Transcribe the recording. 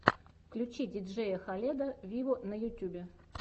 включи диджея халеда виво на ютюбе